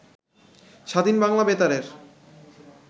স্বাধীন বাংলা বেতারের